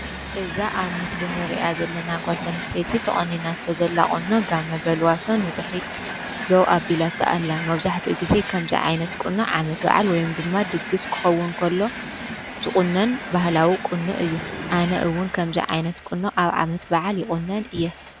እዛ ኣብ ምስልንርኣ ዘለና ጓልተንስተቲ ተቐኒናት ተ ዘላቕኖ ጋብ መበልዋሶ ድኅሪት ዞው ኣ ቢላትተኣላ መውዙሕቲ ጊዜ ከምዘይ ዓይነት ቅኖ ዓመት በዓል ወይም ድማ ድግሥ ክኸውን ኮሎ ዝቕነን ባህላዊ ቕኑ እዩ ኣነእውን ከምዛይ ዓይነት ቅኑ ኣብ ዓመት በዓል ይቝነን እየ።